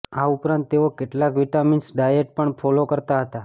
આ ઉપરાંત તેઓ કેટલાક વીટામીન્સ ડાયેટ પણ ફોલો કરતા હતા